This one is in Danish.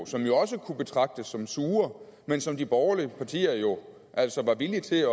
som jo også kunne betragtes som sure men som de borgerlige partier jo altså var villige til at